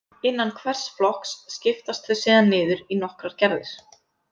Innan hvers flokks skiptast þau síðan niður í nokkrar gerðir.